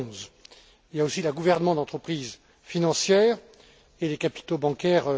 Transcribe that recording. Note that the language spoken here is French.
2011. Il y a aussi la gouvernance d'entreprises financières et les capitaux bancaires.